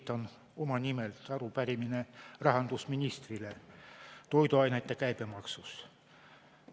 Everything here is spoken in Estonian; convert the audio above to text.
Esitan enda nimel arupärimise rahandusministrile toiduainete käibemaksu kohta.